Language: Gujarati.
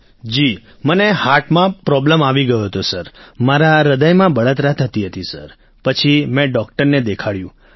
રાજેશ પ્રજાપતિઃ જી મને હાર્ટમાં પ્રોબ્લેમ સર આવી ગયો હતો સર મારા હ્રદયમાં બળતરા થતી હતી સર પછી મેં ડોક્ટરને દેખાડ્યું